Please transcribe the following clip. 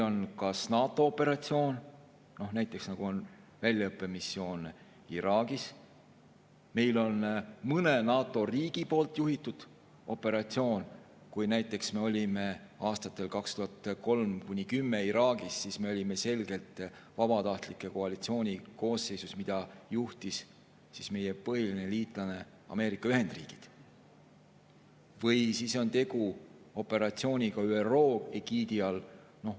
Võib olla NATO operatsioon, näiteks väljaõppemissioon Iraagis, siis on mõne NATO riigi juhitud operatsioon – kui me olime aastatel 2003–2010 Iraagis, siis me olime selgelt vabatahtlike koalitsiooni koosseisus, mida juhtis meie põhiline liitlane Ameerika Ühendriigid – või on tegu operatsiooniga ÜRO egiidi all.